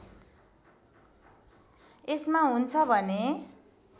यसमा हुन्छ भने